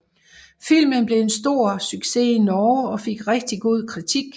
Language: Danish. Filmen blev en stor success i Norge og fik rigtig god kritik